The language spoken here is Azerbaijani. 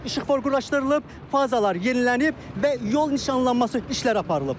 İşıqfor quraşdırılıb, fazalar yenilənib və yol nişanlanması işlər aparılıb.